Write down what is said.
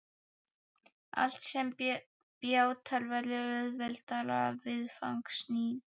Allt sem á bjátar verður auðveldara viðfangs nú.